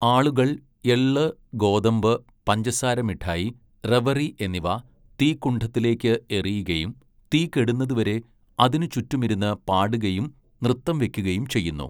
ആളുകൾ എള്ള്, ഗോതമ്പ്, പഞ്ചസാര മിഠായി, റെവറി എന്നിവ തീക്കുണ്ഡത്തിലേക്ക് എറിയുകയും, തീ കെടുന്നതുവരെ അതിനുചുറ്റുമിരുന്ന് പാടുകയും നൃത്തം വെക്കുകയും ചെയ്യുന്നു.